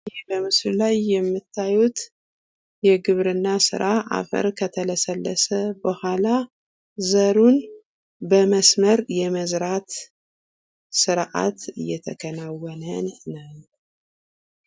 ይህ በምስሉ ላይ የምታዩት የግብርና ስራ አፈር ከተለሰለሰ በኋላ ዘሩን በመስመር የመዝራት ስርአት እየተከናወነ ነው።